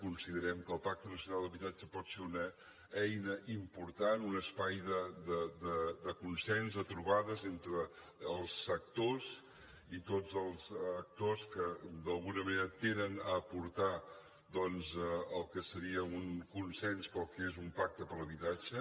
considerem que el pacte nacional per a l’habitatge pot ser una eina important un espai de consens de trobades entre els sectors i tots els actors que d’alguna manera tenen a aportar al que seria un consens pel que és un pacte per l’habitatge